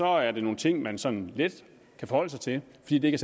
er det nogle ting man sådan let kan forholde sig til fordi det ikke